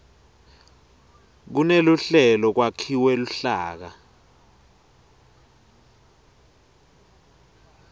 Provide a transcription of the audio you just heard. kuneluhlelo kwakhiwe luhlaka